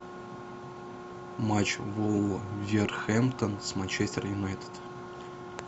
матч вулверхэмптон с манчестер юнайтед